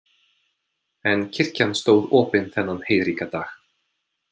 En kirkjan stóð opin þennan heiðríka dag.